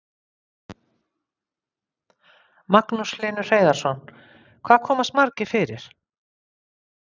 Magnús Hlynur Hreiðarsson: Hvað komast margir fyrir?